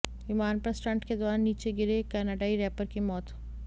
विमान पर स्टंट के दौरान नीचे गिरे कनाडाई रैपर की मौत